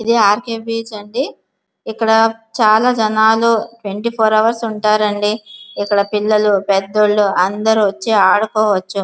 ఇది R K beach అండి ఇక్కడ చాల జనాలు త్వేనీ ఫోర్ హౌర్స్ ఉన్నారు అండి ఇక్కడ పెద్దోళ్లు అందరు వచ్చి ఆడుకోవచ్చు .